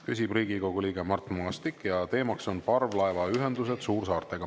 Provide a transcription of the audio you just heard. Küsib Riigikogu liige Mart Maastik ja teemaks on "Parvlaevaühendused suursaartega".